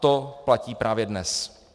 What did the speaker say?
To platí právě dnes.